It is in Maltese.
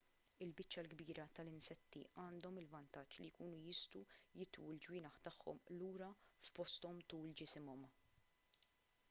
il-biċċa l-kbira tal-insetti għandhom il-vantaġġ li jkunu jistgħu jitwu l-ġwienaħ tagħhom lura f'posthom tul ġisimhom